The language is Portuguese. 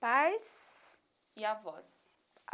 Pais... E avós?